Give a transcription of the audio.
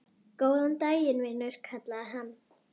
Góðan daginn, vinur kallaði hann.